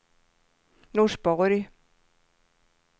Norsborg